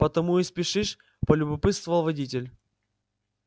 потому и спешишь полюбопытствовал водитель